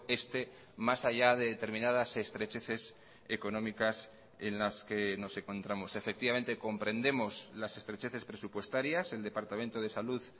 este más allá de determinadas estrecheces económicas en las que nos encontramos efectivamente comprendemos las estrecheces presupuestarias el departamento de salud